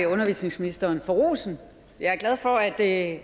undervisningsministeren for rosen jeg er glad for at